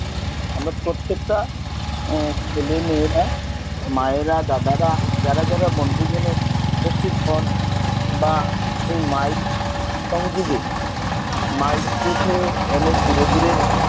আমরা প্রত্যেকটা ছেলেমেয়েরা মায়েরা দাদারা যারা যারা বনভোজনের উপস্থিত হন বা এই mike সংযোগের mike থেকে অনেক দূরে দূরে